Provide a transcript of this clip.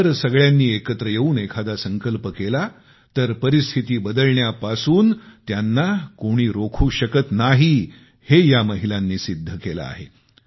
जर सगळ्यांनी एकत्र येवून एखादा संकल्प केला तर परिस्थिती बदलण्यापासून त्यांना कोणी रोखू शकत नाही हे या महिलांनी सिद्ध केले आहे